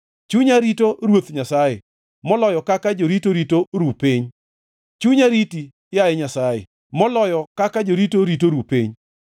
Chunya rito Ruoth Nyasaye, moloyo kaka jorito rito ru piny, chunya riti, yaye Nyasaye, moloyo kaka jorito rito ru piny.